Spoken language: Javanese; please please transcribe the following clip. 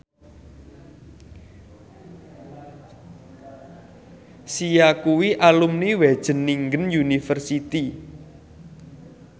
Sia kuwi alumni Wageningen University